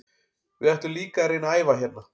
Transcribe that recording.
Við ætlum líka að reyna að æfa hérna.